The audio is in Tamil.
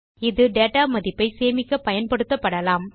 இது டேட்டா மதிப்பை சேமிக்கப் பயன்படுத்தபடலாம்